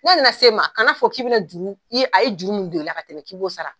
N'a nana se ma kana a fɔ k'i bina juru, a ye juru min don la, ka tɛmɛ k'i b'o sara.